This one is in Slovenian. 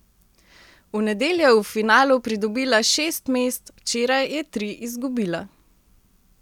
V nedeljo je v finalu pridobila šest mest, včeraj je tri izgubila.